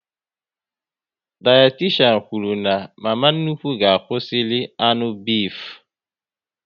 Dayatishan kwụrụ na mama nnukwu ga-akwụsị iri anụ bifu